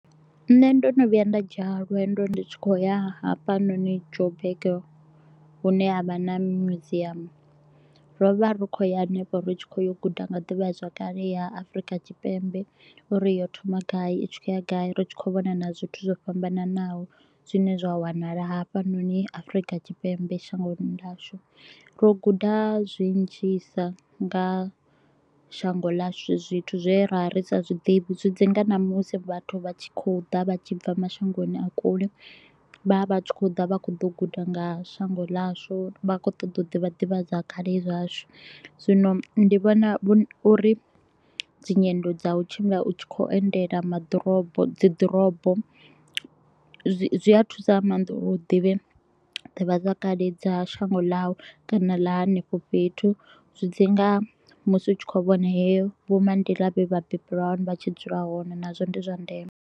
Nṋe ndo no vhuya nda dzhiya lwendo ndi tshi khou ya hafhanoni Joburg, hune ha vha na muziamu. Ro vha ri kho u ya henefho ri tshi kho u ya u guda nga ḓivhazwakale ya Afrika Tshipembe u ri yo thoma gai i tshi kho u ya gai, ri tshi kho u vhona na zwithu zwo fhambananaho. Zwine zwa wanala hafhanoni Afrika Tshipembe shangoni ḽashu, ro guda zwinzhisa nga shango ḽashu. Zwithu zwe ra ri sa zwiḓivhi zwi dzi nga na musi vhathu vha tshi kho u ḓa vha tshi bva mashangoni a kule, vha vha tshi kho u ḓa vha kho ḓo guda nga shango ḽashu. Vha khou ṱoḓa u ḓivha ḓivhazwakale zwashu, zwino ndi vhona u ri dzinyendo dza u tshimbila u tshi kho u endela maḓirobo dziḓorobo, zwi zwi a thusa nga maanḓa u ri u ḓivhe ḓivhazwakale dza shango ḽau kana ḽa henefho fhethu zwi dzi nga musi u tshi kho vhona heyo vho maḓi ḽa vha billion vha tshi dzula hone nazwo ndi zwa ndeme.